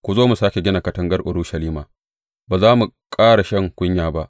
Ku zo mu sāke gina katangar Urushalima, ba za mu ƙara shan kunya ba.